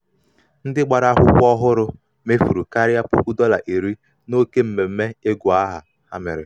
ndị gbara akwụkwọ gbara akwụkwọ ọhụrụ mefuru karịa puku dọla iri n'oke mmemme ịgụ aha ha mere.